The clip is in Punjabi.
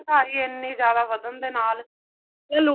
ਮਹਿੰਗਾਈ ਇੰਨੀ ਜਿਆਦਾ ਵਧਣ ਦੇ ਨਾਲ